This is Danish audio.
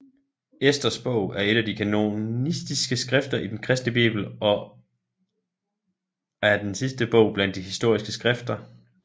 Esters bog er et af de kanoniske skrifter i den kristne Bibel er den sidste bog blandt de historiske skrifter